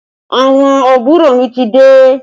Àwọn àbúrò mi ti dé